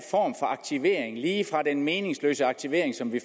for aktivering lige fra den meningsløse aktivering som vi